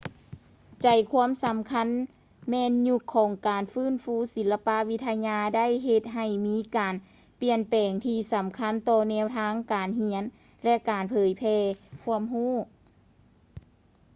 ໃຈຄວາມສຳຄັນແມ່ນ ຍຸກຂອງການຟື້ນຟູສິລະປະວິທະຍາໄດ້ເຮັດໃຫ້ມີການປ່ຽນແປງທີ່ສຳຄັນຕໍ່ແນວທາງການຮຽນ ແລະ ການເຜີຍແຜ່ຄວາມຮູ້